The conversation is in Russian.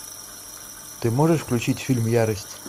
ты можешь включить фильм ярость